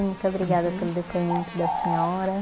Muito obrigada pelo depoimento da senhora.